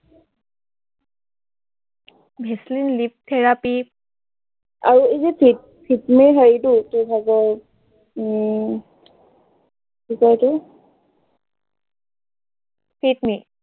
Vaseline lip therapy আৰু এই যে ফিপ ফিপ মি হয় এইটো, কি হয় যে, উম কি কয় এইটো ফিট মি